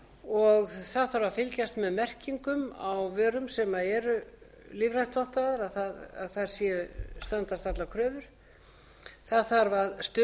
og það þarf að fylgjast með merkingum á vörum sem eru lífrænt vottaðar að þær standist allar kröfur það þarf að stuðla að